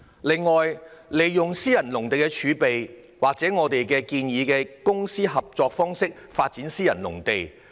另外，我們建議利用私人農地儲備，或以公私營合作方式發展私人農地。